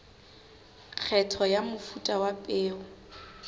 kgetho ya mofuta wa peo